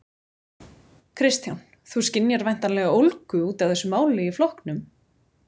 Kristján: Þú skynjar væntanlega ólgu út af þessu máli í flokknum?